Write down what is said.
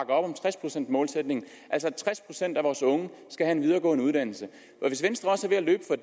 om tres procents målsætningen altså at tres procent af vores unge skal have en videregående uddannelse hvis venstre også er ved at